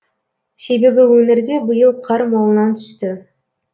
себебі өңірде биыл қар молынан түсті